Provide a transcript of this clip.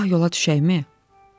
Sabah yola düşəkmi?